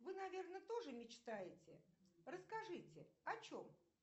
вы наверное тоже мечтаете расскажите о чем